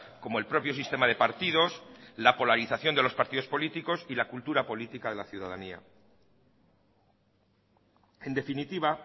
como el propio sistema de partidos la polarización de los partidos políticos y la cultura política de la ciudadanía en definitiva